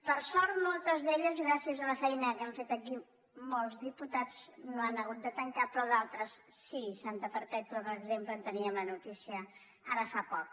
per sort moltes d’elles gràcies a la feina que hem fet aquí molts diputats no han hagut de tan·car però d’altres sí santa perpètua per exemple en teníem la notícia ara fa poc